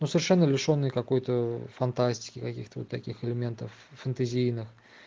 ну совершенно лишённые какой-то фантастики каких-то вот таких элементов фантазийных